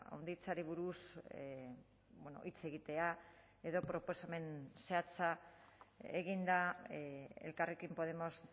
handitzeari buruz hitz egitea edo proposamen zehatza egin da elkarrekin podemos